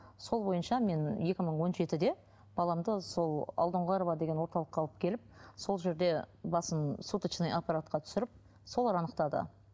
сол бойынша мен екі мың он жетіде баламды сол алдоңғарова деген орталыққа алып келіп сол жерде басын суточный аппаратқа түсіріп солар анықтады